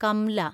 Kamla